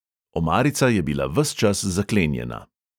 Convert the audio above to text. "Omarica je bila ves čas zaklenjena."